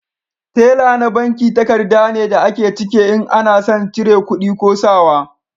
Tela na banki takarda ne da a ke cike in ana son cire kudi ko sa wa